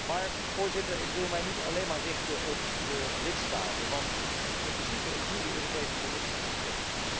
Maar, Voorzitter, ik wil mij niet alleen maar richten op de lidstaten, want in principe is nu de Europese Commissie aan zet.